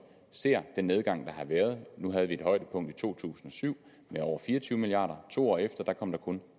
ser den nedgang der har været nu havde vi et højdepunkt i to tusind og syv med over fire og tyve milliard kr to år efter kom der kun